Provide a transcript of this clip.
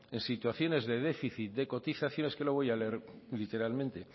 en situaciones de déficit de cotizaciones es que lo voy a leer literalmente